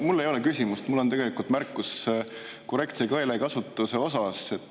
Mul ei ole küsimust, mul on tegelikult märkus korrektse keelekasutuse kohta.